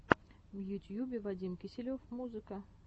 в ютьюбе вадим киселев музыка